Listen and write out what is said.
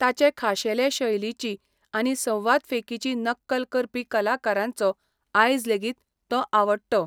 ताचे खाशेले शैलिची आनी संवादफेकीची नक्कल करपी कलाकारांचो आयज लेगीत, तो आवडटो.